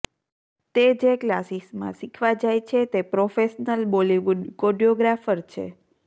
તે જે ક્લાસિસમાં શીખવા જાય છે તે પ્રોફેશનલ બોલિવૂડ કોડિયોગ્રાફર છે